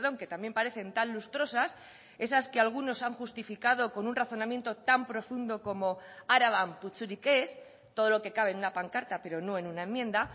que también parecen tan lustrosas esas que algunos han justificado con un razonamiento tan profundo como araban putzurik ez todo lo que cabe en una pancarta pero no en una enmienda